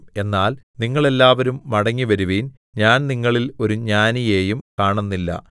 എന്നാൽ നിങ്ങൾ എല്ലാവരും മടങ്ങിവരുവിൻ ഞാൻ നിങ്ങളിൽ ഒരു ജ്ഞാനിയെയും കാണുന്നില്ല